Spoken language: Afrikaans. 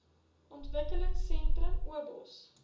ontwikkelingsentrums obos